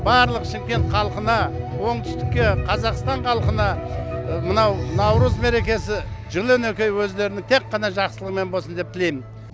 барлық шымкент халқына оңтүстікке қазақстан халқына мынау наурыз мерекесі жыл он екі ай өздеріне тек қана жақсылығымен болсын деп тілейм